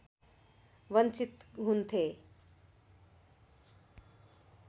वञ्चित हुन्थे